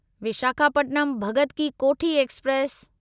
Visakhapatnam Bhagat ki Kothi express